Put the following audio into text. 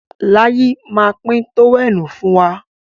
Láyí má pín tówẹ́ẹ̀nù fún wa.